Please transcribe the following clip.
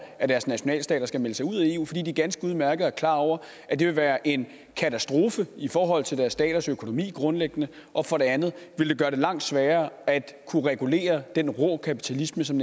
at deres nationalstater skal melde sig ud af eu fordi de ganske udmærket er klar over at det vil være en katastrofe i forhold til deres staters økonomi grundlæggende og for det andet vil det gøre det langt sværere at kunne regulere den rå kapitalisme som